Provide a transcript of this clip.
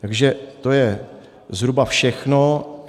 Takže to je zhruba všechno.